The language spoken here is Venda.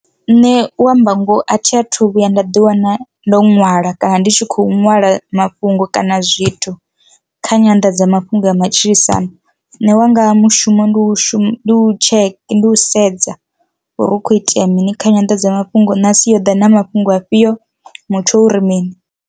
Nṋe u amba ngoho a thi a thu vhuya nda ḓi wana ndo nwala kana ndi tshi kho ṅwala mafhungo kana zwithu kha nyanḓadzamafhungo ya matshilisano, nṋe wanga mushumo ndi u shuma u tsheke ndi u sedza uri hu kho itea mini kha nyanḓadzamafhungo na asi yo ḓa na mafhungo afhiyo mutsho uri mini.